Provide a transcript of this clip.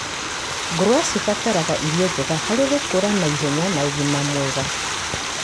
Ngũrũwe cibataraga irio njega harĩ gũkũra naihenya na ũgima mwega